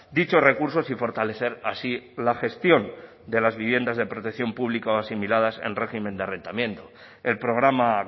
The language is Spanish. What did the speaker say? dichos recursos y fortalecer así la gestión de las viviendas de protección pública o asimiladas en régimen de arrendamiento el programa